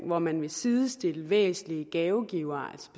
hvor man vil sidestille væsentlige gavegivere